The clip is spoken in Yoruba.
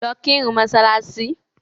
Lọ kírun ni mọ́ṣáláṣì.